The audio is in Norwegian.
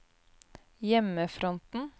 hjemmefronten